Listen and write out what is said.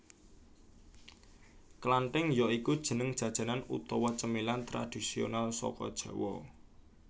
Klantink ya iku jeneng jajanan utawa cemilan tradisional saka Jawa